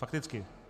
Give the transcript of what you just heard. Fakticky.